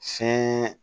Se